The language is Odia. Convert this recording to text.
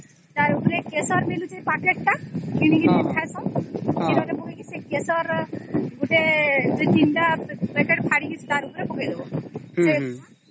ତାର ଉପରେ କେଶର ମିଳୁଛି packet ଟା କିଣିକିରି ଖାଇସେନ କ୍ଷୀର ରେ ପକେଇକି ସେ କେଶର ଗୋଟେ ୩ ଟା packet ଫାଡ଼ିକିରି ତାର ଉପରେ ପକେଇ ଦବ ସେ ହେଇଯିବ